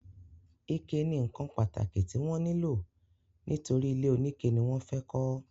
ike ni ǹkan pàtàkì tí wọ́n nílò nítorí ilé oníke ni wọ́n fẹ́ kọ́.